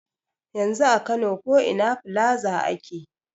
Yanzu a kano ko ina filaza ake.